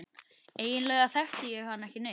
Eiginlega þekkti ég hann ekki neitt.